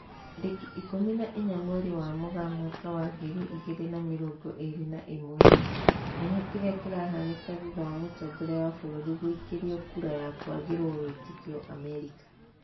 Tarĩki ikũmi na inya mweri wa Mũgaa mwaka wa ngiri igĩri na mĩrongo ĩri na ĩmwe, Menya kĩrĩa kĩrahanĩka thutha wa mũtongoria wa bũrũri guikĩrio kura ya kwagĩrwo wĩtĩkio Amerika